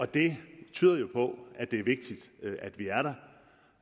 det tyder jo på at det er vigtigt at vi